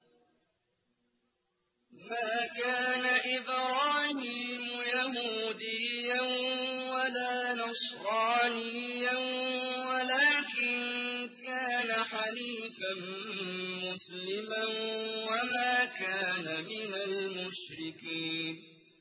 مَا كَانَ إِبْرَاهِيمُ يَهُودِيًّا وَلَا نَصْرَانِيًّا وَلَٰكِن كَانَ حَنِيفًا مُّسْلِمًا وَمَا كَانَ مِنَ الْمُشْرِكِينَ